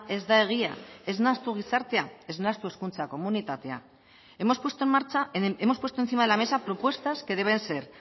ez da egia ez nahastu gizartea ez nahastu hezkuntza komunitatea hemos puesto en marcha hemos puesto encima de la mesa propuestas que deben ser